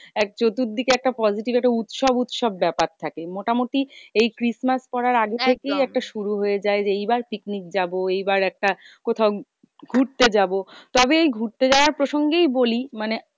এক চতুর্দিকে একটা positive একটা উৎসব উৎসব ব্যাপার থাকে। মোটামুটি এই খ্রীষ্টমাস করার আগে থেকেই একটা শুরু হয়ে যায় যে, এইবার picnic যাবো। এই বার একটা কোথাও ঘুরতে যাবো। তবে এই ঘুরতে যাওয়া প্রসঙ্গেই বলি মানে